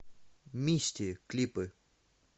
мисти клипы